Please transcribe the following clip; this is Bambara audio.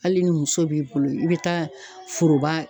Hali ni muso b'i bolo i be taa foroba